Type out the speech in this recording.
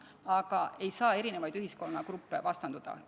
Aga ei saa erinevaid ühiskonnagruppe vastandada.